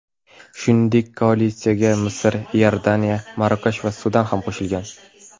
Shuningdek, koalitsiyaga Misr, Iordaniya, Marokash va Sudan ham qo‘shilgan.